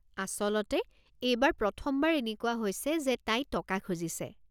আচলতে, এইবাৰ প্ৰথমবাৰ এনেকুৱা হৈছে যে তাই টকা খুজিছে।